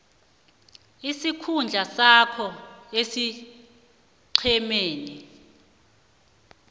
isikhundla sakho esiqhemeni